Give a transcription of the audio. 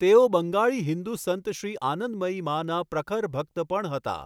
તેઓ બંગાળી હિંદુ સંત શ્રી આનંદમયી માના ''પ્રખર ભક્ત'' પણ હતા.